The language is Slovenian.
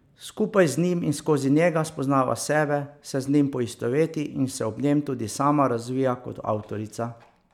Skupaj z njim in skozi njega spoznava sebe, se z njim poistoveti in se ob njem tudi sama razvija kot avtorica.